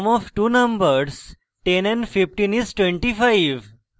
sum of two numbers 10 and 15 is 25